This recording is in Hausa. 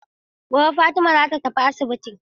Gobe ​​Fatima zata tafi asibitin.